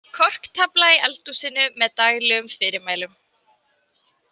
Korktafla í eldhúsinu með daglegum fyrirmælum.